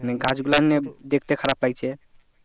গাছ গুলো দেখতে খারাপ লাগছে